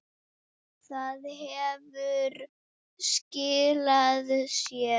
Það hefur skilað sér.